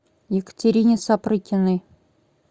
екатерине сапрыкиной